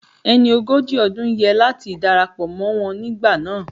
Ẹni ogójì ọdún yẹ láti darapọ̀ mọ́ wọn nígbà náà